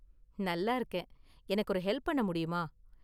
நல்லா இருக்கேன். எனக்கு ஒரு ஹெல்ப் பண்ண முடியுமா?